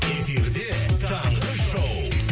эфирде таңғы шоу